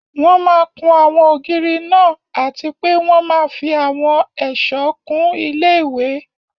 Wọ́n máa kún àwọn ògiri náà àti pé wọ́n máa fí àwọn ẹ̀sọ̀ kún ilé-ìwé